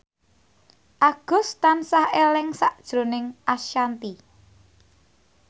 Agus tansah eling sakjroning Ashanti